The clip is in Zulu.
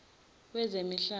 wezemihlaba